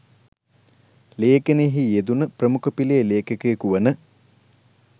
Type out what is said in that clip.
ලේඛනයෙහි යෙදුණු ප්‍රමුඛ පෙළේ ‍ලේඛකයකු වන